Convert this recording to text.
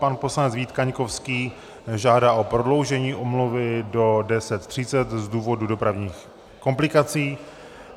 Pan poslanec Vít Kaňkovský žádá o prodloužení omluvy do 10.30 z důvodu dopravních komplikací.